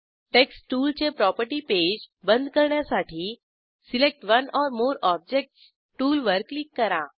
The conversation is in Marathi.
टेक्स्ट टूलचे प्रॉपर्टी पेज बंद करण्यासाठी select one or more objects टूलवर क्लिक करा